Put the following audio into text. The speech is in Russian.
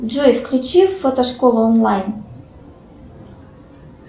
джой включи фотошколу онлайн